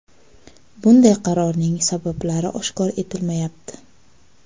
Bunday qarorning sabablari oshkor etilmayapti.